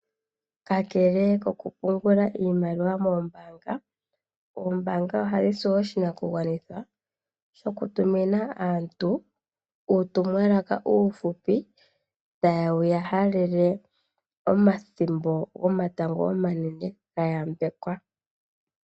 Kakele kokupungula iimaliwa mombaanga, ombaanga ohayi si oshinakugwanithwa shokutumuna aantu uutumwalaka uufupi tawu ya halele aantu omathimbo gomatango omanene ga yambekwa.